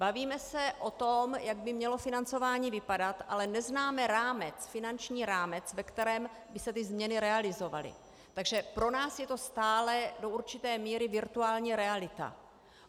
Bavíme se o tom, jak by mělo financování vypadat, ale neznáme rámec, finanční rámec, ve kterém by se ty změny realizovaly, takže pro nás je to stále do určité míry virtuální reality.